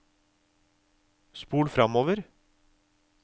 spol framover